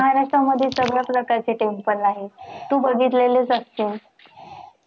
महाराष्ट्रामध्ये सगळ आपल कृषीच उत्पन्न आहे. तु बघितलेलं असशील.